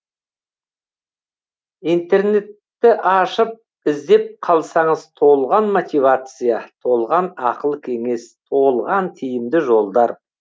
интернетті ашып іздеп қалсаңыз толған мотивация толған ақыл кеңес толған тиімді жолдар